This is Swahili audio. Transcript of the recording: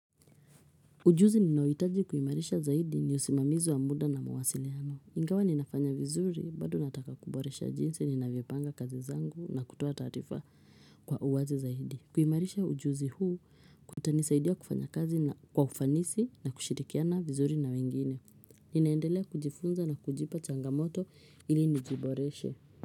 Ujuzi ninaouitaji kuhimarisha zaidi ni usimamizi wa muda na mawasiliano. Ingawa ninafanya vizuri bado nataka kuboresha jinsi ninavyopanga kazi zangu na kutoa tarifa kwa uwazi zaidi. Kuhimarisha ujuzi huu kutanisaidia kufanya kazi na kwa ufanisi na kushirikiana vizuri na wengine. Ninaendelea kujifunza na kujipa changamoto ili nijiboreshe.